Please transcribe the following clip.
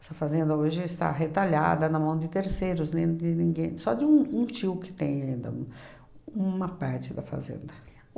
Essa fazenda hoje está retalhada na mão de terceiros, nem de ninguém, só de um um tio que tem ainda uma parte da fazenda.